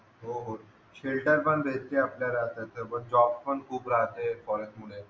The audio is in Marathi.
फिल्टर पण भेटते आपल्याला त्याच्यावर जॉब पण खूप राहते फॉरेस्ट मुळे